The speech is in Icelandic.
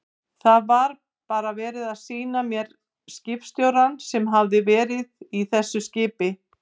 Það var bara verið að sýna mér skipstjórann sem hafði verið í þessu skipi.